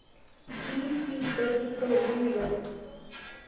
bc biblical rulers